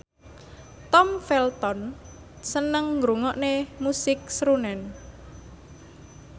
Tom Felton seneng ngrungokne musik srunen